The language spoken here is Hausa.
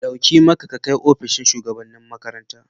Dauki maka ka kai opishin shugabanni makaranta.